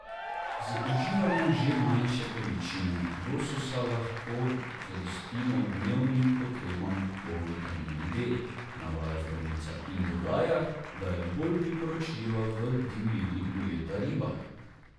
Z uživanjem že manjše količine lososa lahko zadostimo dnevnim potrebam po vitaminu D, navaja zdravnica in dodaja, da je bolj priporočljiva v divjini ujeta riba.